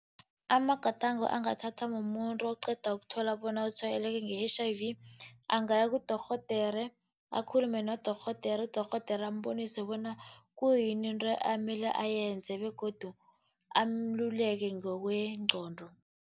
Amagadango angathathwa mumuntu oqeda ukuthola bona utshwayeleke nge-H_I_V, angaya kudorhodere, akhulume nodorhodere. Udorhodere ambonise bona kuyini into amele ayenze begodu ameluleke ngokwengqondo.